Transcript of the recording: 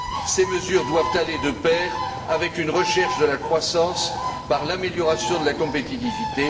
Ces mesures doivent aller de pair avec une recherche de la croissance par l'amélioration de la compétitivité.